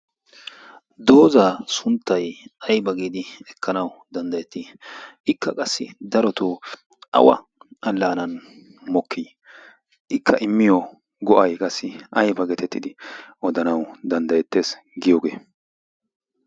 doozaa sunttay aiba giidi ekkanau danddayettii ikka qassi darotoo awa allaanan mokkii ikka immiyo go'ay qassi aiba getettidi odanau danddayettees giyoogee?